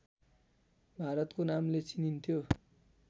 भारतको नामले चिनिन्थ्यो